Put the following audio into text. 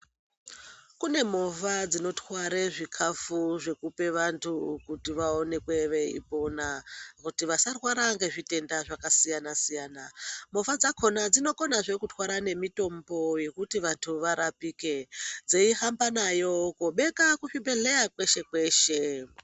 Kune movha dzinotware zvikhafu zvekupe wandu kuti vaonekwe vei pona kuti vasarware ngezvitenda zvakasiyana siyana, movha dzakhona dzinokonazve kutwara nemitombo yekuti wandu warapike, dzei hamba nayo koobeka kuzvibhedhleya kweshe kweshe.